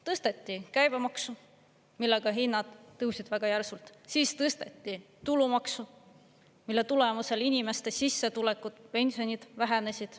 Tõsteti käibemaksu, millega hinnad tõusid väga järsult, siis tõsteti tulumaksu, mille tulemusel inimeste sissetulekud, pensionid vähenesid.